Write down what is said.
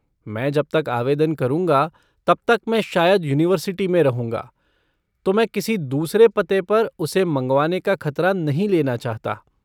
मैं जब तक आवेदन करूँगा तब तक मैं शायद यूनिवर्सिटि में रहूंगा तो मैं किसी दूसरे पते पर उसे मंगवाने का खतरा नहीं लेना चाहता।